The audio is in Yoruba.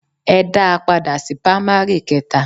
Ẹ dá a padà sí pamari keta.